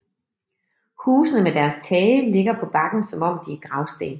Husene med deres tage ligger på bakken som om de er gravsten